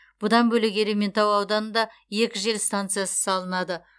бұдан бөлек ерейментау ауданында екі жел станциясы салынады